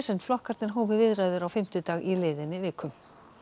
en flokkarnir hófu viðræður á fimmtudag í liðinni viku